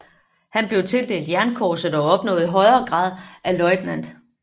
Han blev tildelt jernkorset og opnåede grad af løjtnant